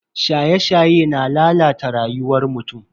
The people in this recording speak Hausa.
Shaye-shaye na lalata rayuwar mutum.